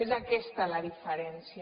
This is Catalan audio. és aquesta la diferència